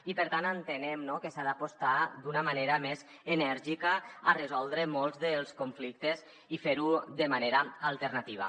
i per tant entenem que s’ha d’apostar d’una manera més enèrgica per resoldre molts dels conflictes i fer ho de manera alternativa